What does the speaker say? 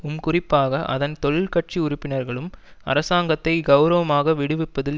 உம் குறிப்பாக அதன் தொழிற்கட்சி உறுப்பினர்களும் அரசாங்கத்தை கெளரவமாக விடுவிப்பதில்